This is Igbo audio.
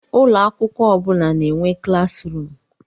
Ụlọ akwụkwọ ọ bụ na-enwe klas ruum.